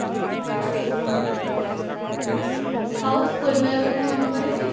ଆଉ school ବେଳ କଥା ମାନେ ପଡୁଚି